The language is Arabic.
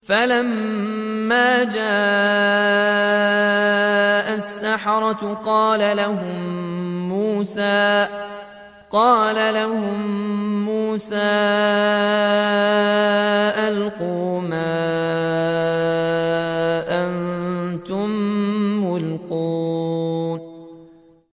فَلَمَّا جَاءَ السَّحَرَةُ قَالَ لَهُم مُّوسَىٰ أَلْقُوا مَا أَنتُم مُّلْقُونَ